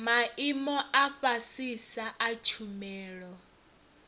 maimo a fhasisa a tshumelo